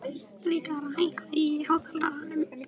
Rikharð, hækkaðu í hátalaranum.